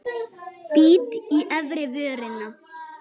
Bít í efri vörina.